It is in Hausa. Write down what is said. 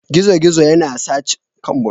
Gizo-gizo yana sa cuta.